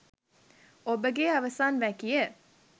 ඔබගේ අවසන් වැකිය